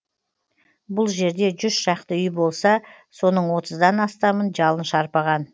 бұл жерде жүз шақты үй болса соның отыздан астамын жалын шарпыған